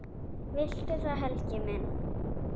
Viltu það, Helgi minn?